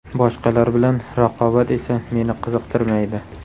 Boshqalar bilan raqobat esa meni qiziqtirmaydi.